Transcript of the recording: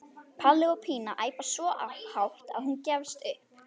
Palli og Pína æpa svo hátt að hún gefst upp.